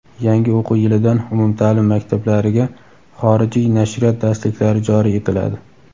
Yangi o‘quv yilidan umumtaʼlim maktablariga xorijiy nashriyot darsliklari joriy etiladi.